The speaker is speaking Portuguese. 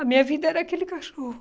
A minha vida era aquele cachorro.